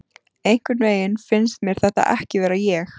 Einhvernveginn finnst mér þetta ekki vera ég.